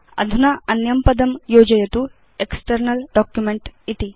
अधुना अन्यं पदं योजयतु एक्स्टर्नल् डॉक्युमेंट इति